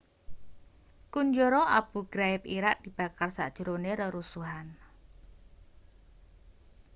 kunjara abu ghraib irak dibakar sajrone rerusuhan